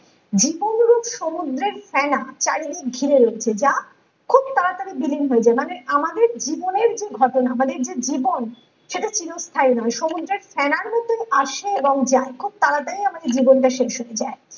জীবন রূপ সমুদ্রের ফেনা চারদিক ঘিরে রয়েছে যা খুব তাড়াতাড়ি বিলীন হয়ে যায় মানে আমাদের জীবনের যে ঘটনা মানে যে জীবন সেটা চিরস্থায়ী নয় সমুদ্রের ফেনার মতো আসে এবং যায় খুব তাড়াতাড়ি আমাদের জীবনটা শেষ হয়ে যায়।